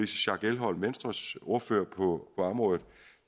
schack elholm venstres ordfører på området